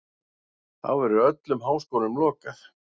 Þá verður öllum háskólum lokað.